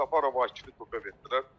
Səfərov Akifə toka verdilər.